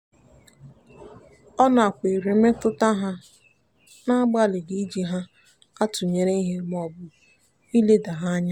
ọ nakweere mmetụta ha n'agbalịghị iji ha atụnyere ihe maọbụ ileda ha anya.